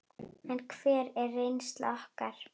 En hver er reynsla okkar?